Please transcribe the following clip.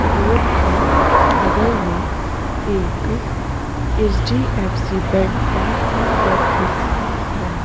Road के बगल में एक H. D. F. C bank का ऑफिस है।